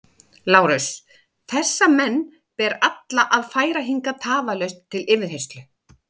LÁRUS: Þessa menn ber alla að færa hingað tafarlaust til yfirheyrslu.